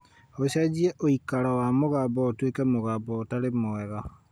ũcenjie ũikaro wa mũgambo ũtuĩke mũgambo ũtarĩ mwega